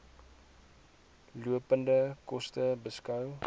lopende koste beskou